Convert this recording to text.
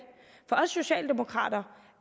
for os socialdemokrater